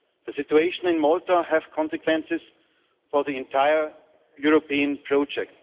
The situation in Malta has consequences for the entire European project.